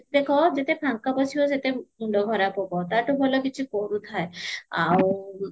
ଯେତେ ଦେଖ ଯେତେ ଫାଙ୍କ ବସିବ ସେତେ ମୁଣ୍ଡ ଖରାପ ହବ ତାଠୁ ଭଲ କିଛି କରୁଥାଏ ଆଉ